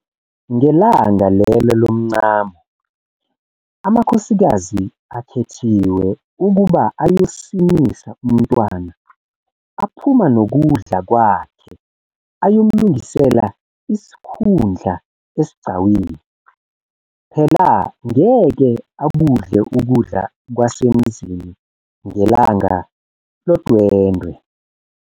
Ngelanga lelo lomncamo, amakhosikazi akhethiwe ukuba ayosinisa umntwana aphuma nokudla kwakhe ayomlungisela isikhundla esigcawini phela ngeke akudle ukudla kwasemzini ngelanga lodwendwe.